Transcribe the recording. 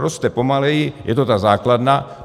Roste pomaleji, je to ta základna.